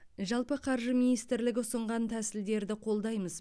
жалпы қаржы министрлігі ұсынған тәсілдерді қолдаймыз